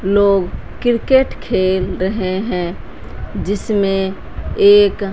लोग क्रिकेट खेल रहे हैं जिसमें एक--